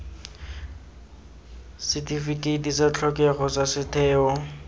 setifikeiti sa tlhokego sa setheo